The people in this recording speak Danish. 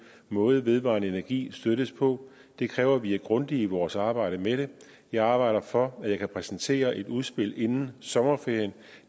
måde vedvarende energi støttes på det kræver at vi er grundige i vores arbejde med det jeg arbejder for at jeg kan præsentere et udspil inden sommerferien